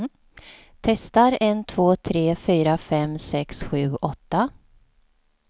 Testar en två tre fyra fem sex sju åtta.